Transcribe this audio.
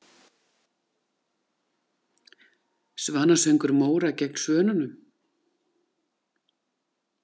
Svanasöngur Móra gegn Svönunum?